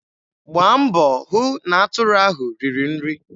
Gbaa mbọ hụ na atụrụ ahụ riri nri.